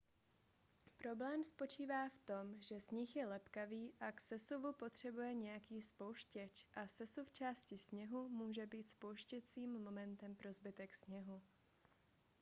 problém spočívá v tom že sníh je lepkavý a k sesuvu potřebuje nějaký spouštěč a sesuv části sněhu může být spouštěcím momentem pro zbytek sněhu